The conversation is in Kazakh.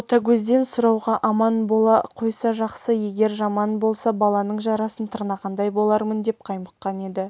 ботагөзден сұрауға аман бола қойса жақсы егер жаман болса баланын жарасын тырнағандай болармын деп қаймыққан еді